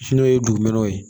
N'o ye dugumɛnɛ ye